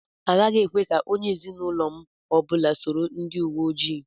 Agaghị ekwe ka onye ezinụlọ m ọbụla soro ndị uwe ojii.